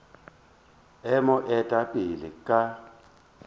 e mo eta pele ka